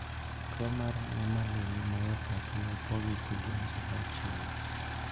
Tuo mar nemaline myopathy opogi e kidienje auchiel.